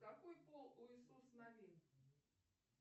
какой пол у иисус навин